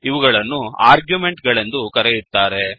ಇವುಗಳನ್ನು ಆರ್ಗ್ಯುಮೆಂಟ್ ಗಳೆಂದು ಕರೆಯುತ್ತಾರೆ